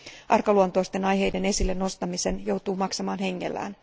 Arkaluonteisten asioiden esille nostamisen joutuu maksamaan hengellään.